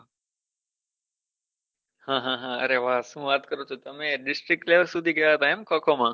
હા હા અરે વાહ શું વાત કરો છો તમે district level સુધી જઇ આયા એમ ખો ખો માં